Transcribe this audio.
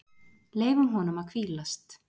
Leyfum honum að hvílast.